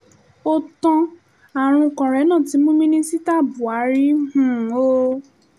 ó tan àrùn kòrénà tí mú mínísítà búhárì um o